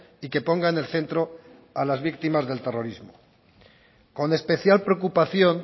y que ponga en el centro a las víctimas del terrorismo con especial preocupación